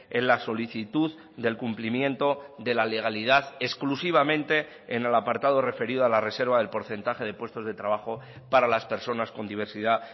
en la solicitud del cumplimiento de la legalidad exclusivamente en el apartado referido a la reserva del porcentaje de puestos de trabajo para las personas con diversidad